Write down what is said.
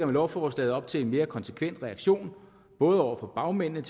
lovforslaget op til en mere konsekvent reaktion både over for bagmændene